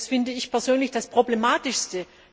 Das finde ich persönlich das Problematischste.